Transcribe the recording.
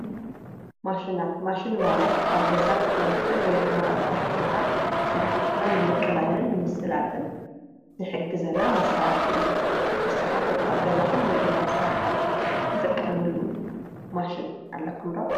ማሽናት፡- ማሽን ማለት ኣብ ገዛ ክኾን ይኽእል ወይ ድማ ኣብ ስራሕ ቦታ ስራሕ ኣቲና ንምቕላልን ምስላጥን ዝሕግዘና መሳርሒ እዩ፡፡ ንስኻቶም ኣብ ገዛኹም ወይ ድማ ኣብ ስራሕኹም ትጥቀምሉ ማሽን ኣለኹም ዶ?